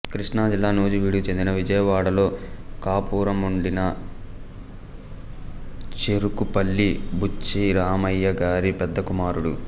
కృష్ణాజిల్లా నూజివీడుకు చెంది విజయవాడలో కాపురముండిన చెఱుకుపల్లి బుచ్చిరామయ్య గారి పెద్ద కుమారుడు